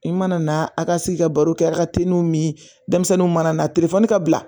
I mana na a ka sigi ka baro kɛ a ka teliw ni denmisɛnninw mana na telefɔni ka bila